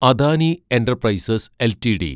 Adani enterprises LTD